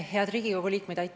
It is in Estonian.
Head Riigikogu liikmed!